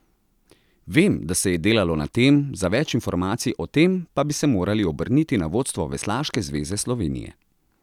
Vem, da se je delalo na tem, za več informacij o tem, pa bi se morali obrniti na vodstvo Veslaške zveze Slovenije.